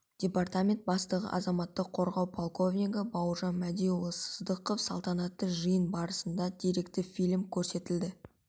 департамент бастығы азаматтық қорғау подполковнигі бауыржан мәдиұлы сыздықов салтанатты жиын барысында деректі фильм көрсетілді